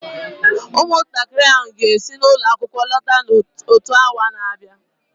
ụmụntakịrị ahụ ga-esi ụlọ akwụkwọ lọta n'ime otu awa na-abịa